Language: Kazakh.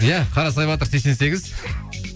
иә қарасай батыр сексен сегіз